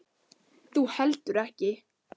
Þú heldur ekki.